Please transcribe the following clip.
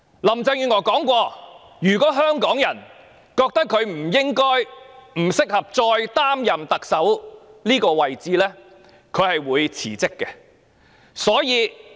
林鄭月娥曾經聲言，如香港人認為她不應該及不適合繼續擔任特首這職位，她會辭職。